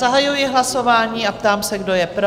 Zahajuji hlasování a ptám se, kdo je pro?